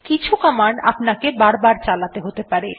কিছু কমান্ড আপনাকে বারবার চালাতে হতে পারে